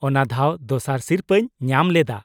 -ᱚᱱᱟ ᱫᱷᱟᱣ ᱫᱚᱥᱟᱨ ᱥᱤᱨᱯᱟᱹᱧ ᱧᱟᱢ ᱞᱮᱫᱟ ᱾